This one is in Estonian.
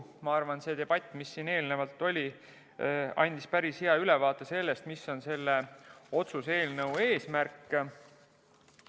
Ma arvan, et see debatt, mis siin eelnevalt oli, andis päris hea ülevaate sellest, mis on selle otsuse-eelnõu eesmärk.